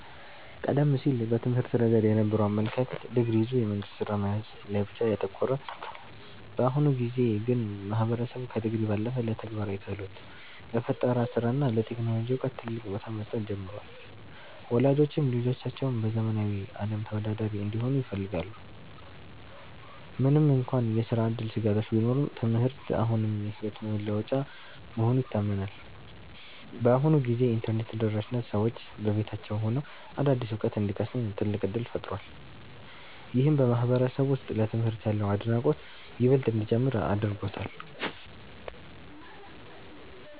ቀደም ሲል በትምህርት ረገድ የነበረው አመለካከት ዲግሪ ይዞ የመንግሥት ሥራ መያዝ ላይ ብቻ ያተኮረ ነበር። በአሁኑ ጊዜ ግን ማህበረሰቡ ከዲግሪ ባለፈ ለተግባራዊ ክህሎት፣ ለፈጠራ ሥራ እና ለቴክኖሎጂ ዕውቀት ትልቅ ቦታ መስጠት ጀምሯል። ወላጆችም ልጆቻቸው በዘመናዊው ዓለም ተወዳዳሪ እንዲሆኑ ይፈልጋሉ። ምንም እንኳን የሥራ ዕድል ስጋቶች ቢኖሩም፣ ትምህርት አሁንም የሕይወት መለወጫ መሆኑ ይታመናል። በአሁኑ ጊዜ የኢንተርኔት ተደራሽነት ሰዎች በቤታቸው ሆነው አዳዲስ ዕውቀት እንዲቀስሙ ትልቅ ዕድል ፈጥሯል። ይህም በማህበረሰቡ ውስጥ ለትምህርት ያለውን አድናቆት ይበልጥ እንዲጨምር አድርጎታል።